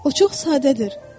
O çox sadədir.